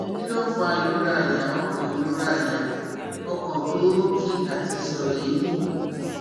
Kí ló ń fa ìrora àyà, ọkàn ìrora àyà, ọkàn to n ro ki àti ìṣòro eemí?